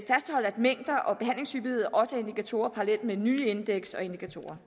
mængder og behandlingshyppighed også er indikatorer parallelt med nye indeks og indikatorer